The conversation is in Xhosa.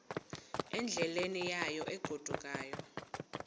endleleni yayo egodukayo